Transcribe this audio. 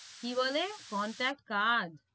কি বলে contact card